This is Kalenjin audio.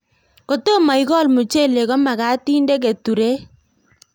Kotomo ikol muchelek ko magat inde keturek